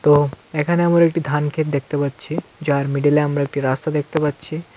তো এখানে আমার একটি ধান ক্ষেত দেখতে পাচ্ছি যার মিডিলে আমরা একটি রাস্তা দেখতে পাচ্ছি.